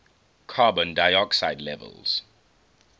carbon dioxide levels